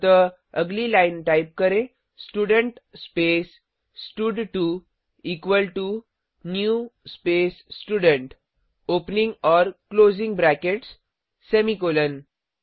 अतः अगली line type करें स्टूडेंट स्पेस स्टड2 equal to new space student opening और क्लोजिंग ब्रैकेट्स सेमीकॉलन